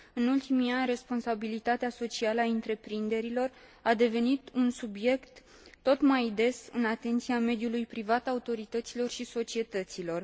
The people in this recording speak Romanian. În ultimii ani, responsabilitatea socială a întreprinderilor a devenit un subiect aflat tot mai des în atenția mediului privat, autorităților și societăților.